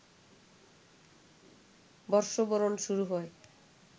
বর্ষবরণ শুরু হয়